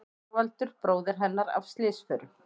Þorvaldur bróðir hennar af slysförum.